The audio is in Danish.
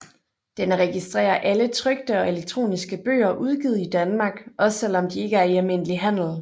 Den registrerer alle trykte og elektroniske bøger udgivet i Danmark også selv om de ikke er i almindelig handel